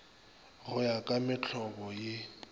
go ya ka mohlobo ye